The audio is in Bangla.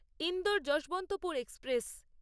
ইন্দোর যশবন্তপুর এক্সপ্রেস